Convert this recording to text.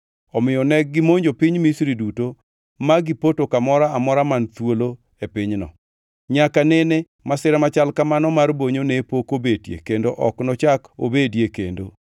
omiyo negimonjo piny Misri duto ma gipoto kamoro amora man thuolo e pinyno. Nyaka nene masira machal kamano mar bonyo ne pok obetie kendo ok nochak obedie kendo.